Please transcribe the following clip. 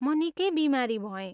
म निकै बिमारी भएँ।